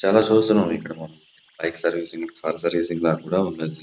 చాలా చూస్తున్నాం ఇక్కడ బైక్ సర్వీసింగ్ కార్ సర్వీసింగ్ లా ఉన్నాయి.